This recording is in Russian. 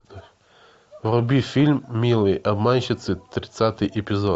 вруби фильм милые обманщицы тридцатый эпизод